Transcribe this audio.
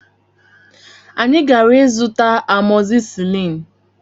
Anyị gara ịzụta amọzisilin